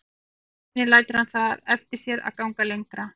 Aðeins einu sinni lætur hann það eftir sér að ganga lengra.